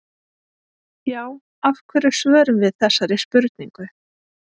Já, af hverju svörum við þessari spurningu?